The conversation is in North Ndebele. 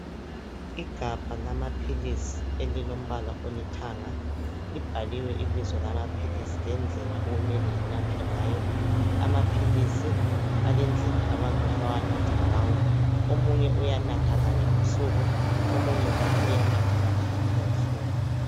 Igabha lamaphilisi elilombala olithanga .Libhaliwe ibizo lamaphilisi lendlela okumele enathwe ngayo . Amaphilisi alendlela. abantu abawanatha ngawo .Omunye uyanatha kanye ngosuku omunye njalo uyanatha kathathu ngosuku.